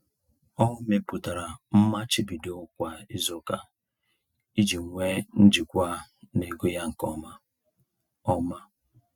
Ọ mepụtara mmachibido kwa izuụka iji nwe njikwa n'ego ya nke ọma. ọma.